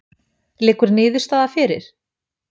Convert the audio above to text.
Liggur niðurstaða fyrir?